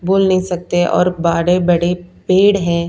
बोल नहीं सकते और बाड़े बड़े पेड़ हैं।